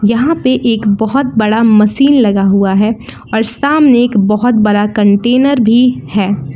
यहां पर एक बहुत बड़ा मशीन लगा हुआ है और सामने एक बहुत बड़ा कंटेनर भी है।